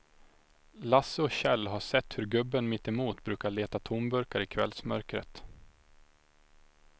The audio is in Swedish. Lasse och Kjell har sett hur gubben mittemot brukar leta tomburkar i kvällsmörkret.